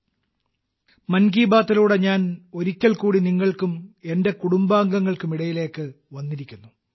'മൻ കി ബാത്തിലൂടെ' ഞാൻ ഒരിക്കൽ കൂടി നിങ്ങൾക്കും എന്റെ കുടുംബാംഗങ്ങൾക്കും ഇടയിലേക്ക് വന്നിരിക്കുന്നു